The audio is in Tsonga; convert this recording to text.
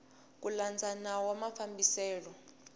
ku landza nawu wa mafambiselo